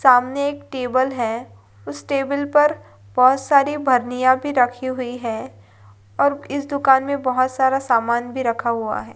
सामने एक टेबल है उस टेबल पर बहुत सारी भी रखी हुई है और इस दुकान में बहुत सारा समान भी रखा हुआ है।